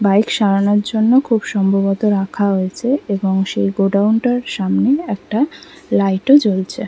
Bike সারানোর জন্য খুব সম্ভবত রাখা হয়েছে এবং সেই গোডাউন টার সামনে একটা লাইটও জ্বলছে।